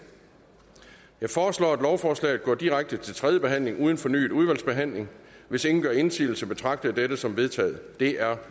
jeg foreslår at lovforslaget går direkte til tredje behandling uden fornyet udvalgsbehandling hvis ingen gør indsigelse betragter jeg dette som vedtaget det er